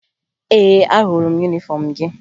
Ee, ahụrụ m yunifọmụ gị